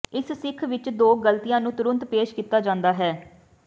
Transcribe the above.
ਇਸ ਮਿੱਥ ਵਿਚ ਦੋ ਗਲਤੀਆਂ ਨੂੰ ਤੁਰੰਤ ਪੇਸ਼ ਕੀਤਾ ਜਾਂਦਾ ਹੈ